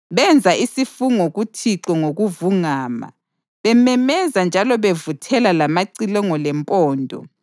Benza isifungo kuThixo ngokuvungama, bememeza njalo bevuthela lamacilongo lempondo.